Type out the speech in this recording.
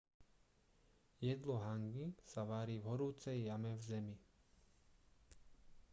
jedlo hangi sa varí v horúcej jame v zemi